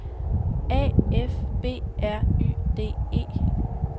A F B R Y D E